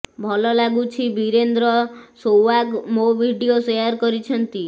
ଭଲ ଲାଗୁଛି ବୀରେନ୍ଦ୍ର ସେଓ୍ବାଗ୍ ମୋ ଭିଡିଓ ସେୟାର୍ କରିଛନ୍ତି